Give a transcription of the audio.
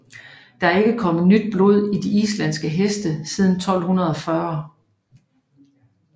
Der er ikke kommet nyt blod i de islandske heste siden 1240